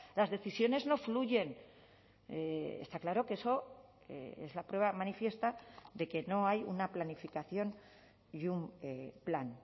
las decisiones no fluyen está claro que eso es la prueba manifiesta de que no hay una planificación y un plan